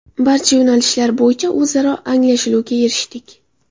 Barcha yo‘nalishlar bo‘yicha o‘zaro anglashuvga erishdik.